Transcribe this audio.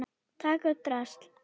Taka upp drasl.